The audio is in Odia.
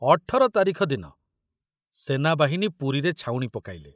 ଅଠର ତାରିଖ ଦିନ ସେନାବାହିନୀ ପୁରୀରେ ଛାଉଣି ପକାଇଲେ।